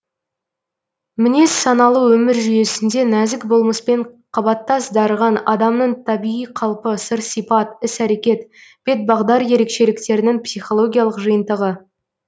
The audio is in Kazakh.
мінез саналы өмір жүйесінде нәзік болмыспен қабаттас дарыған адамның табиғи қалпы сыр сипат іс әрекет бет бағдар ерекшеліктерінің психологиялық жиынтығы